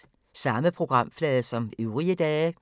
Samme programflade som øvrige dage